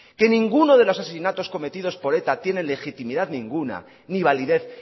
que ninguno de los asesinatos cometidos por eta tienen legitimidad ninguna ni validez